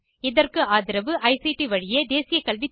இதற்கு ஆதரவு ஐசிடி வழியாக தேசிய கல்வித்திட்டத்தின் மூலமாக கிடைக்கிறது